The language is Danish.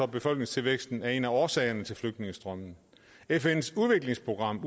befolkningstilvæksten er en af årsagerne til flygtningestrømmen fns udviklingsprogram